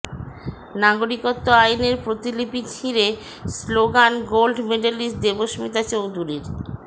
নাগরিকত্ব আইনের প্রতিলিপি ছিঁড়ে স্লোগান গোল্ড মেডেলিস্ট দেবস্মিতা চৌধুরীর